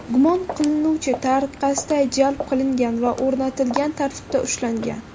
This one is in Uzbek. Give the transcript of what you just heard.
gumon qilinuvchi tariqasida jalb qilingan va o‘rnatilgan tartibda ushlangan.